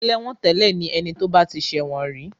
Ẹlẹ́wọ̀ntẹ́lẹ̀ ni ẹni tí ó bá ti ṣẹ̀wọ̀n rí.